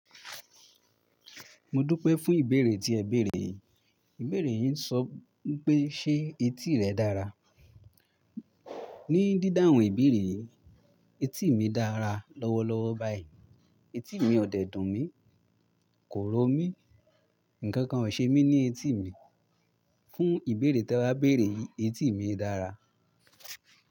Mo dúpẹ́ fún ìbéèrè tí ẹ béèrè. Ìbéèrè yí n sọ pé ṣe etí rẹ dára. Ni dídáhun ìbéèrè yìí, etí mi dára lọ́wọ́lọ́wọ́ báyìí. Etí mi ò dẹ̀ dùnmí, kò ró mi, nkankan ò dẹ̀ ṣe mí ní etí mi fún ìbéèrè tí ẹ wá béèrè yí, etí mi dára.